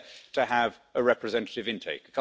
it is there to have a representative intake.